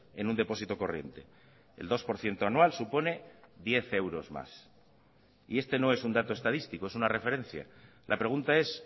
en un depósito corriente el dos por ciento anual supone diez euros más y este no es un dato estadístico es una referencia la pregunta es